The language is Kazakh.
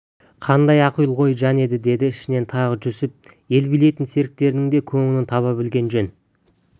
қандай ақылгөй жан еді деді ішінен тағы жүсіп ел билейтін серіктерінің де көңілін таба білген жөн